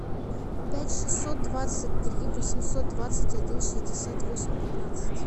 пять шестьсот двадцать три восемьсот двадцать один шестьдесят восемь пятнадцать